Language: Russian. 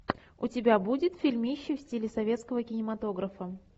у тебя будет фильмище в стиле советского кинематографа